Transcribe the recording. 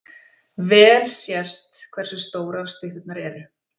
Vel sést hversu stórar stytturnar eru.